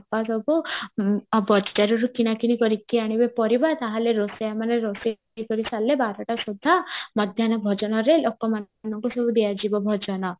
ସବୁ ବଜାରରୁ କିଣା କିଣି କରିକି ଆଣିବେ ପାରିବେ ତାହେଲେ ରୋଷେଆ ମାନେ ରୋଷେଇ ସାରିଲେ ବାରଟା ସୁଧା ମଧ୍ୟାନ ଭୋଜନାରେ ଲୋକମାନଙ୍କୁ ସବୁ ଦିଆଯିବ ଭୋଜନ